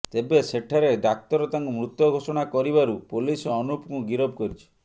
ତେବେ ସେଠାରେ ଡାକ୍ତର ତାଙ୍କୁ ମୃତ ଘୋଷଣା କରିବାରୁ ପୋଲିସ ଅନୁପକୁ ଗିରଫ କରିଛି